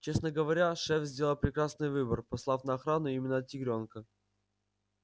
честно говоря шеф сделал прекрасный выбор послав на охрану именно тигрёнка